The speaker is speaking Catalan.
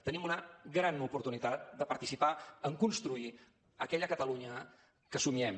tenim una gran oportunitat de participar en construir aquella catalunya que somiem